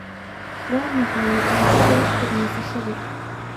Waa maxay natiijada wakhtiga nasashada?